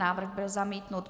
Návrh byl zamítnut.